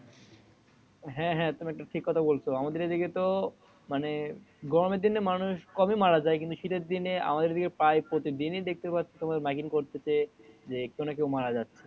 হ্যা হ্যা তুমি একটা ঠিক কথা বলেছো আমাদের এই দিকে তো মানে গরমের দিনে মানুষ কমই মারা যাই কিন্তু শীতের দিনে আমাদের এই দিকে প্রায় প্রতিদিনই দেখতে পাচ্ছি কোনো কেও মারা যাচ্ছে।